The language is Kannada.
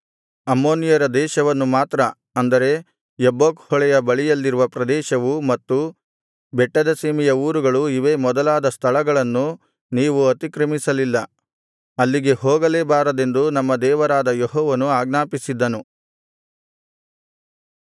ಅಮ್ಮೋನಿಯರ ದೇಶವನ್ನು ಮಾತ್ರ ಅಂದರೆ ಯಬ್ಬೋಕ್ ಹೊಳೆಯ ಬಳಿಯಲ್ಲಿರುವ ಪ್ರದೇಶವು ಮತ್ತು ಬೆಟ್ಟದ ಸೀಮೆಯ ಊರುಗಳು ಇವೇ ಮೊದಲಾದ ಸ್ಥಳಗಳನ್ನು ನೀವು ಅತಿಕ್ರಮಿಸಲಿಲ್ಲ ಅಲ್ಲಿಗೆ ಹೋಗಲೇ ಬಾರದೆಂದು ನಮ್ಮ ದೇವರಾದ ಯೆಹೋವನು ಆಜ್ಞಾಪಿಸಿದ್ದನು